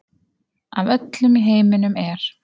Af öllum í heiminum er